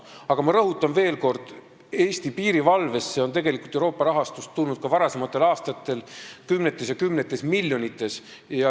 Aga rõhutan veel kord, et Eesti piirivalvesse on tegelikult Euroopa rahastust tulnud ka varasematel aastatel kümnetes ja kümnetes miljonites.